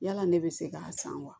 Yala ne bɛ se k'a san wa